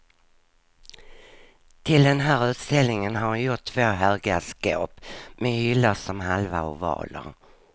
Till den här utställningen har hon gjort två höga skåp med hyllor som halva ovaler.